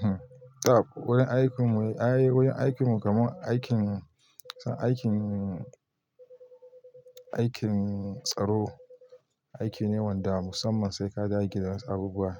Hmm, tau wurin aikin mu, ay, wurin aikin mu kamar aikin, aikin, aikin tsaro, aiki ne wanda musamman sai ka dage da wasu abubuwa.